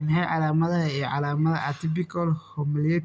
Waa maxay calaamadaha iyo calaamadaha Atypical hemolytic uremic ciladha